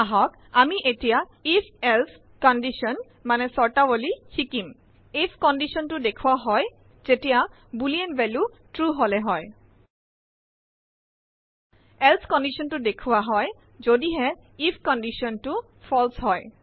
আহক আমি এতিয়া if এলছে কণ্ডিশ্যন মানে স্বৰ্তাৱলী শিকিম আইএফ conditionটো দেখোৱা হয় যেতিয়া বুলিন ভেলিউ ট্ৰু হলে হয় এলছে conditionটো দেখোৱা হয় যদিহে আইএফ conditionটো ফালছে হয়